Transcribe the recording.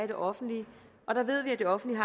det offentlige og der ved vi at det offentlige